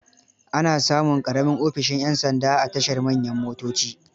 Ana samun ƙaramin ofishin 'yan sanda a tashar manyan motoci.